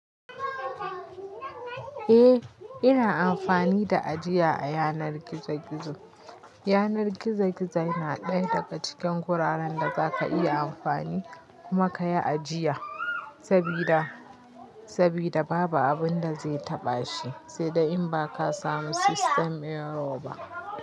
Eh, ina amfani da ajiya a yanar gizo-gizo. Yanar gizo-gizo yana ɗaya daga cikin wuraren da za ka iya amfani kuma ka yi ajiya, sabida, sabida babu abin da zai taɓa shi, sai dai in ba ka samu system error ba.